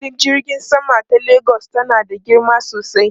Filin jirgin sama ta Lagos tana da girma sosai.